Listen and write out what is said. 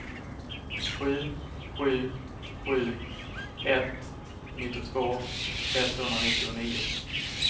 sju sju sju ett nittiotvå etthundranittionio